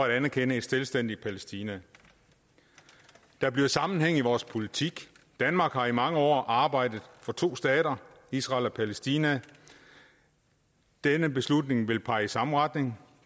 at anerkende et selvstændigt palæstina der bliver sammenhæng i vores politik danmark har i mange år arbejdet for to stater israel og palæstina og denne beslutning vil pege i samme retning